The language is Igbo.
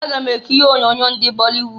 Aga m ekiri onyoonyo ndị bọlịwud.